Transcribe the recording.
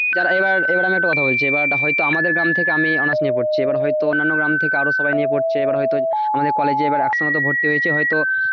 দাঁড়া এবার, এবার আমি একটা কথা বলছিথা বলছি হয়তো আমাদের গ্রাম থেকে আমি honours নিয়ে পড়ছি এবার হয়তো অন্যান্য গ্রাম থেকে আরো সবাই নিয়ে পড়ছে এবার হয়তো আমাদের college এ এবার একসঙ্গে ভর্তি হয়েছে, হয়তো,